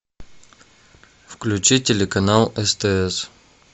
включи телеканал стс